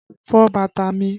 Fọ bàtà mi!